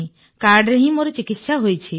କାର୍ଡରେ ହିଁ ମୋର ଚିକିତ୍ସା ହୋଇଛି